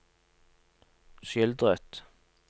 skildret